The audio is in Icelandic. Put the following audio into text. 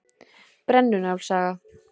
Brennu-Njáls saga.